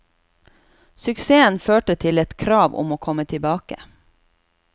Suksessen førte til et krav om å komme tilbake.